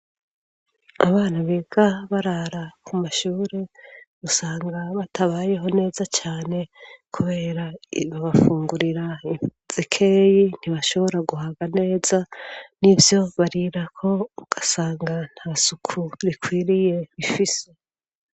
Abana biga barara ku mashure usanga batabayeho neza cane kubera babafungurira zikeyi ntibashobora guhaga neza n'ivyo barirako ugasanga nta suku rikwiriye ifise